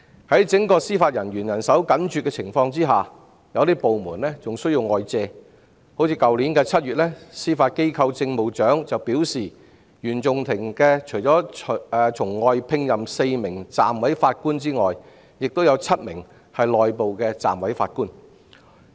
在整個司法人員人手緊絀的情況下，有些部門還需要外借人手，例如去年7月，司法機構政務長便表示原訟法庭除了從外聘任4名暫委法官外，亦有7名是內部的暫委法官。